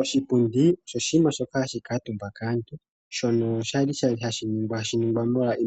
Oshipundi osho oshinima shoka hashi kalwa omutumba kaantu, shono hashi ningwa